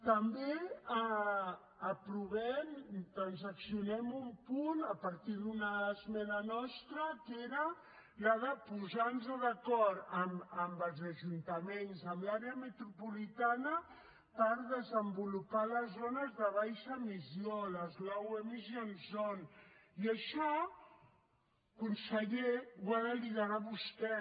també aprovem transaccionem un punt a partir d’una esmena nostra que era la de posar nos d’acord amb els ajuntaments amb l’àrea metropolitana per desenvolupar les zones de baixa emissió les low emission zones i això conseller ho ha de liderar vostè